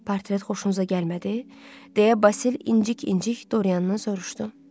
Portret xoşunuza gəlmədi deyə Basil incik-incik Dorianından soruşdu.